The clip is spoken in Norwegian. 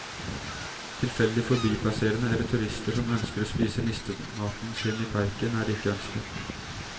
Tilfeldig forbipasserende, eller turister som ønsker å spise nistematen sin i parken, er ikke ønsket.